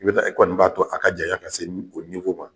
I be taa e kɔni b'a to a ka jaɲa ka se o ma.